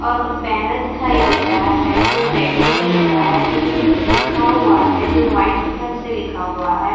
और बैनर दिखाई दे रहा है जो बैंगनी कलर का है जिसमे कुछ लिखा हुआ है जो वाइट कलर से लिखा हुआ है।